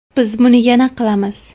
Biz buni yana qilamiz.